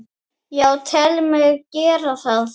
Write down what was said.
Já, tel mig gera það.